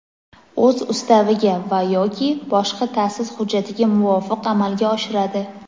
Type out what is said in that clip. o‘z ustaviga va (yoki) boshqa ta’sis hujjatiga muvofiq amalga oshiradi.